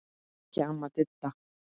En ekki amma Didda.